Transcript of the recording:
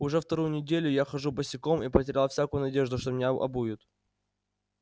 уже вторую неделю я хожу босиком и потерял всякую надежду что меня обуют